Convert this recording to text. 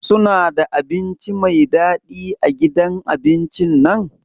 Suna da abinci Mai dadi a gidan abincin nan?